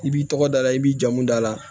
I b'i tɔgɔ d'a la i b'i jamu da la